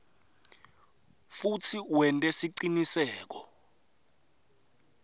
futsi wente siciniseko